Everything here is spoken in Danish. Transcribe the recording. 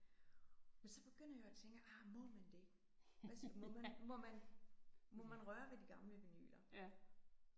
Men så begynder jeg jo at tænke ah må man det? Altså må man må man må man røre ved de gamle vinyler?